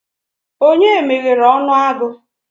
Onye meghere onu agu?